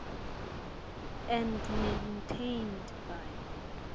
and maintained by